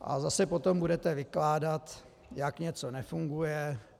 A zase potom budete vykládat, jak něco nefunguje.